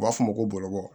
U b'a fɔ o ma ko bɔlɔbɔ